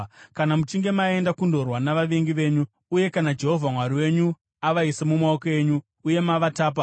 Kana muchinge maenda kundorwa navavengi venyu uye kana Jehovha Mwari wenyu avaisa mumaoko enyu uye mavatapa,